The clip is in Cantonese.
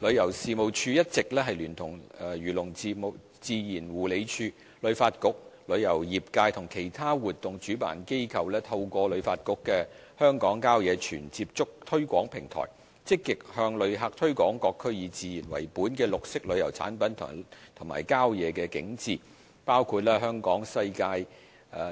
旅遊事務署一直聯同漁農自然護理署、旅發局、旅遊業界和其他活動主辦機構，透過旅發局的"香港郊野全接觸"推廣平台，積極向旅客推廣各區以自然為本的綠色旅遊產品及郊野景致，包括